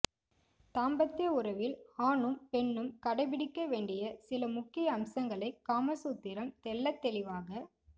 தாம்பத்ய உறவில் ஆணும் பெண் ணும் கடைப்பிடிக்க வேண்டிய சில முக்கிய அம்சங்களை காமசூத்திரம் தெள்ளத்தெளிவாக